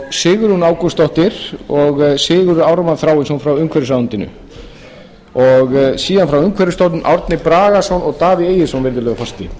sigrún ágústsdóttir og sigurður ármann þráinsson frá umhverfisráðuneytinu síðan frá umhverfisstofnun árni bragason og davíð egilsson virðulegi forseti